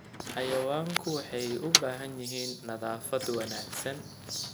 Xayawaanku waxay u baahan yihiin nadaafad wanaagsan.